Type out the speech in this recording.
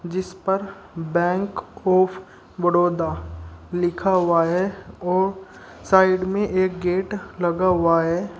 जिसपर bank of Baroda लिखा हुआ है और साइड में एक गेट लगा हुआ है।